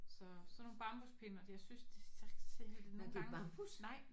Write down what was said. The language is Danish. Så sådan nogle bambuspinde o at jeg synes de ser og det nogle gange nej